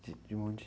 De, de onde?